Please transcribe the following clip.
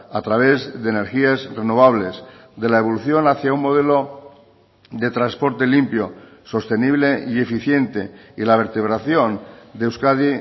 a través de energías renovables de la evolución hacia un modelo de transporte limpio sostenible y eficiente y la vertebración de euskadi